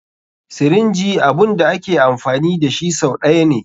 Sirinji abun da ake amfani dashi sau ɗaya ne.